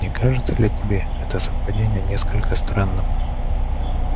не кажется ли тебе это совпадение несколько странным